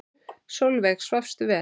Sólveig: Svafstu vel?